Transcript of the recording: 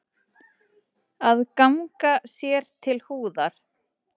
Að ganga sér til húðar